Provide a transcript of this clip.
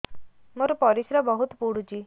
ମୋର ପରିସ୍ରା ବହୁତ ପୁଡୁଚି